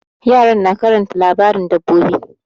Yara na karanta labarin dabbobi.